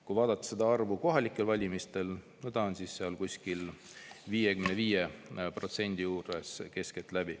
Kui vaadata seda näitajat kohalikel valimistel, siis see on keskeltläbi 55% juures.